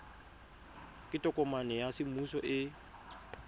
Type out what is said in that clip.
ke tokomane ya semmuso e